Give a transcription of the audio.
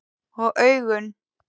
Og augun?